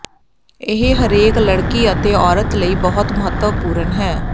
ਇਹ ਹਰੇਕ ਲੜਕੀ ਅਤੇ ਔਰਤ ਲਈ ਬਹੁਤ ਮਹੱਤਵਪੂਰਨ ਹੈ